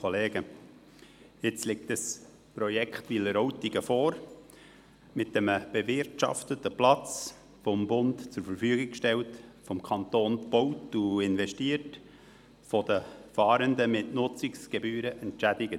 Jetzt liegt dieses Projekt Wileroltigen vor, mit einem bewirtschafteten Platz, der vom Bund zur Verfügung gestellt, vom Kanton erstellt und darin investiert wird und der von den Fahrenden mit Nutzungsgebühren entschädigt wird.